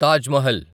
Taj Mahal